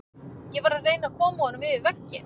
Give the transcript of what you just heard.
Ég var að reyna að koma honum yfir vegginn.